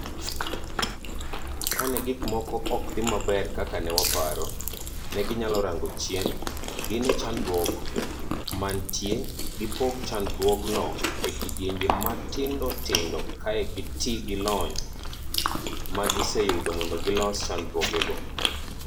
Kane gik moko ok dhi maber kaka ne waparo, neginyalo rango chien, gine chandruok mantie, gipog chandruogno e kidienje matindo tindo kae to gitii gilony magiseyudo mondo gilos chandruogego.